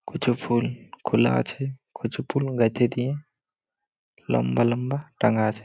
কুছু ফুল খোলা আছে । কুছু ফুল গেথে দিয়ে লম্বা লম্বা টাঙা আছে ।